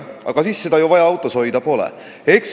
"– "Aga siis seda ju autos hoida vaja pole!